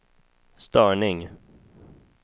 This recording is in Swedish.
störning